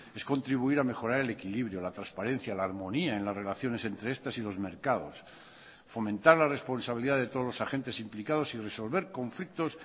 es contribuir a mejorar el equilibrio la transparencia la armonía en las relaciones entre estas y los mercados fomentar la responsabilidad de todos los agentes implicados y resolver conflictos